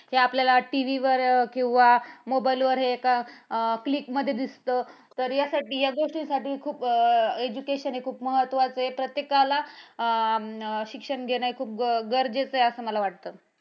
हे आपल्याला TV वर किंवा mobile वर अं click मध्ये दिसतं. तर यासाठी या गोष्टींसाठी खूप education हे खूप महत्वाचं आहे. प्रत्येकाला अं शिक्षण घेणे हे खूप गरजेचे आहे, असा मला वाटतं.